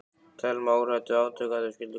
Telma: Óhrædd við átök ef að þau skyldu koma upp?